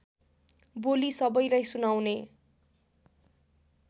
बोली सबैलाई सुनाउने